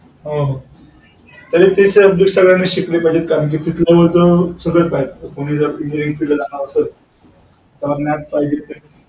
हो.